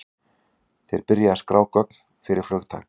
Þeir byrja að skrá gögn fyrir flugtak.